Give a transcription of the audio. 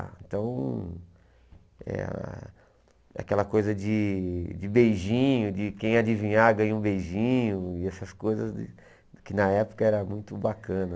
Então, eh aquela coisa de de beijinho, de quem adivinhar ganha um beijinho, e essas coisas que na época era muito bacana.